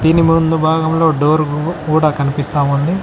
దీని ముందు భాగంలో డోర్ గు కూడా కనిపిస్తా ఉంది.